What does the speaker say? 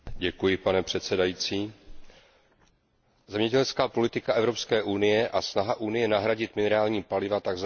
Pane předsedající, zemědělská politika Evropské unie a snaha Unie nahradit minerální paliva tzv.